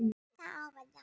Þetta ár varð langt.